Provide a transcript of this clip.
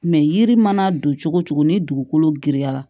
yiri mana don cogo cogo ni dugukolo girinya la